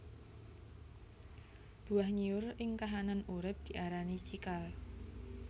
Buah nyiur ing kahanan urip diarani cikal